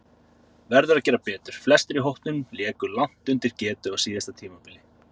Verður að gera betur: Flestir í hópnum léku langt undir getu á síðasta tímabili.